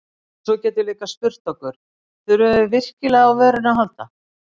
Og svo getum við líka spurt okkur: Þurfum við virkilega á vörunni að halda?